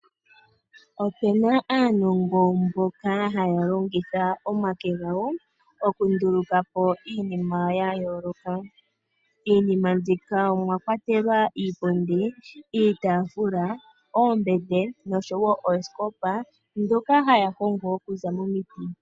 Opena aantu mboka haya longitha omake gawo okunduluka po iinima ya yoooloka. Iimina mbika omwa kwatelwa iipundi, iitaafula, ombete nosho wo oosikopa ndhoka haya hongo oku za momiti.